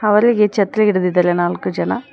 ಅವರಿಗೆ ಛತ್ರಿ ಹಿಡಿದಿದ್ದಾರೆ ನಾಲ್ಕು ಜನ.